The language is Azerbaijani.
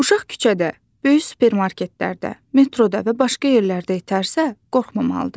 Uşaq küçədə, böyük supermarketlərdə, metroda və başqa yerlərdə itərsə, qorxmamalıdır.